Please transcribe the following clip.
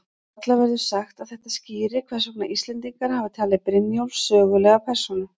Varla verður sagt að þetta skýri hvers vegna Íslendingar hafa talið Brynjólf sögulega persónu.